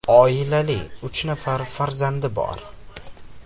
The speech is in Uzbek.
Oilali, uch nafar farzandi bor.